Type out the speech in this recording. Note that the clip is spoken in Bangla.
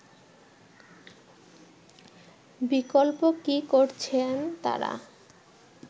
বিকল্প কি করছেন তারা